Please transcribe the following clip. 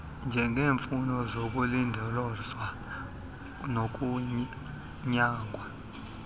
njengeemfuno zokulindolozwa nokunyangwa